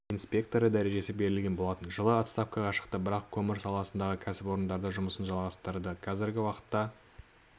инспекторы дәрежесі берілген болатын жылы отставкаға шықты бірақ көмір саласындағы кәсіпорындарда жұмысын жалғастырды қазіргі уақытта